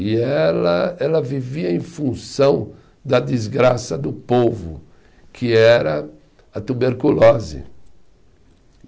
E ela, ela vivia em função da desgraça do povo, que era a tuberculose.